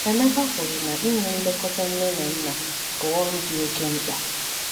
Emeka kwuru na ịnye nlekọta nne na nna bụ ọrụ dị oke mkpa.